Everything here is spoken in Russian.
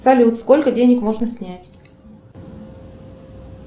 салют сколько денег можно снять